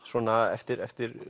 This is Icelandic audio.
eftir eftir